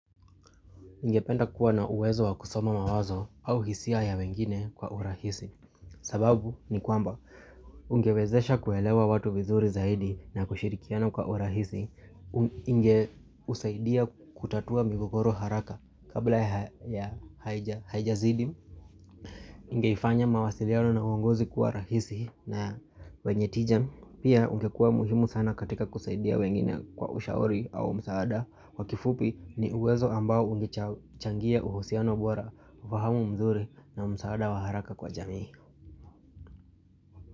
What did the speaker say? Ningependa kuwa na uwezo wa kusoma mawazo au hisia ya wengine kwa urahisi sababu ni kwamba ungewezesha kuelewa watu vizuri zaidi na kushirikiana kwa urahisi Inge usaidia kutatua migogoro haraka kabla ya haijazidi Ingeifanya mawasiliano na uongozi kuwa rahisi na wenye tija. Pia ungekua muhimu sana katika kusaidia wengine kwa ushauri au msaada. Kwa kifupi ni uwezo ambao ungechangia uhusiano bora, ufahamu mzuri na msaada wa haraka kwa jamii.